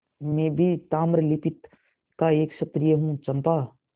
मैं भी ताम्रलिप्ति का एक क्षत्रिय हूँ चंपा